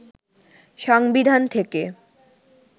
সংবিধান থেকে